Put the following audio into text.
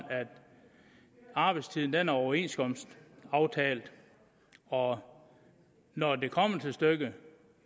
arbejdstiden er overenskomstaftalt og når det kommer til stykket